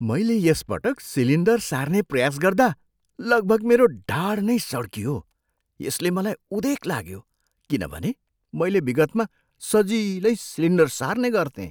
मैले यस पटक सिलिन्डर सार्ने प्रयास गर्दा लगभग मेरो ढाड नै सड्कियो यसले मलाई उदेक ला्यो किनभने मैले विगतमा सजिलै सिलिन्डर सार्ने गर्थेँ।